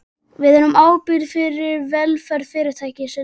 Við erum ábyrgir fyrir velferð Fyrirtækisins.